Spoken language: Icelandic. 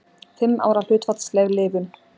Fimm ára hlutfallsleg lifun.